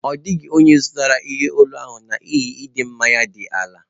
Ọ dịghị onye zụtara ihe olu ahụ n'ihi ịdị mma ya dị ala